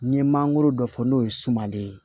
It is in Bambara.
N'i ye mangoro dɔ fɔ n'o ye sumanden ye